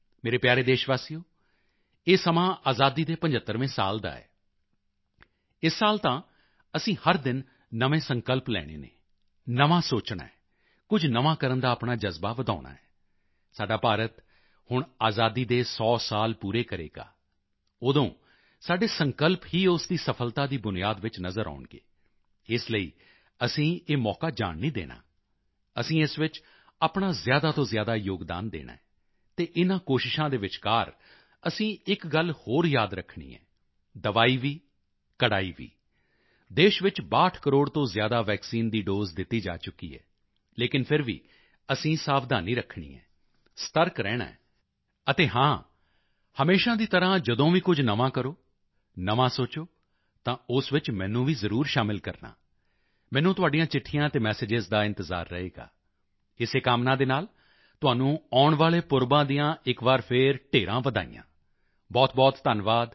ਮੇਰੇ ਪਿਆਰੇ ਦੇਸ਼ਵਾਸੀਓ ਇਹ ਸਮਾਂ ਆਜ਼ਾਦੀ ਦੇ 75ਵੇਂ ਸਾਲ ਦਾ ਹੈ ਇਸ ਸਾਲ ਤਾਂ ਅਸੀਂ ਹਰ ਦਿਨ ਨਵੇਂ ਸੰਕਲਪ ਲੈਣੇ ਹਨ ਨਵਾਂ ਸੋਚਣਾ ਹੈ ਅਤੇ ਕੁਝ ਨਵਾਂ ਕਰਨ ਦਾ ਆਪਣਾ ਜਜ਼ਬਾ ਵਧਾਉਣਾ ਹੈ ਸਾਡਾ ਭਾਰਤ ਹੁਣ ਆਜ਼ਾਦੀ ਦੇ 100 ਸਾਲ ਪੂਰੇ ਕਰੇਗਾ ਉਦੋਂ ਸਾਡੇ ਸੰਕਲਪ ਹੀ ਉਸ ਦੀ ਸਫਲਤਾ ਦੀ ਬੁਨਿਆਦ ਵਿੱਚ ਨਜ਼ਰ ਆਉਣਗੇ ਇਸ ਲਈ ਅਸੀਂ ਇਹ ਮੌਕਾ ਜਾਣ ਨਹੀਂ ਦੇਣਾ ਅਸੀਂ ਇਸ ਵਿੱਚ ਆਪਣਾ ਜ਼ਿਆਦਾ ਤੋਂ ਜ਼ਿਆਦਾ ਯੋਗਦਾਨ ਦੇਣਾ ਹੈ ਅਤੇ ਇਨ੍ਹਾਂ ਕੋਸ਼ਿਸ਼ਾਂ ਦੇ ਵਿਚਕਾਰ ਅਸੀਂ ਇੱਕ ਗੱਲ ਹੋਰ ਯਾਦ ਰੱਖਣੀ ਹੈ ਦਵਾਈ ਵੀ ਕੜ੍ਹਾਈ ਵੀ ਦੇਸ਼ ਵਿੱਚ 62 ਕਰੋੜ ਤੋਂ ਜ਼ਿਆਦਾ ਵੈਕਸੀਨ ਦੀ ਦੋਸੇ ਦਿੱਤੀ ਜਾ ਚੁੱਕੀ ਹੈ ਲੇਕਿਨ ਫਿਰ ਵੀ ਅਸੀਂ ਸਾਵਧਾਨੀ ਰੱਖਣੀ ਹੈ ਸਤਰਕ ਰਹਿਣਾ ਹੈ ਅਤੇ ਹਾਂ ਹਮੇਸ਼ਾ ਦੀ ਤਰ੍ਹਾਂ ਜਦੋਂ ਵੀ ਕੁਝ ਨਵਾਂ ਕਰੋ ਨਵਾਂ ਸੋਚੋ ਤਾਂ ਉਸ ਵਿੱਚ ਮੈਨੂੰ ਵੀ ਜ਼ਰੂਰ ਸ਼ਾਮਲ ਕਰਨਾ ਮੈਨੂੰ ਤੁਹਾਡੀਆਂ ਚਿੱਠੀਆਂ ਅਤੇ ਮੈਸੇਜਿਜ਼ ਦਾ ਇੰਤਜ਼ਾਰ ਰਹੇਗਾ ਇਸੇ ਕਾਮਨਾ ਦੇ ਨਾਲ ਤੁਹਾਨੂੰ ਆਉਣ ਵਾਲੇ ਪੁਰਬਾਂ ਦੀਆਂ ਇੱਕ ਵਾਰ ਫਿਰ ਢੇਰਾਂ ਵਧਾਈਆਂ ਬਹੁਤਬਹੁਤ ਧੰਨਵਾਦ